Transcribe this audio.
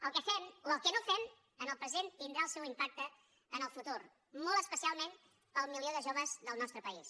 el que fem o el que no fem en el present tindrà el seu impacte en el futur molt especialment per al milió de joves del nostre país